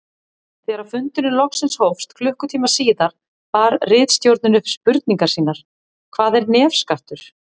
Þegar fundurinn loksins hófst klukkutíma síðar bar ritstjórnin upp spurningar sínar: Hvað er nefskattur?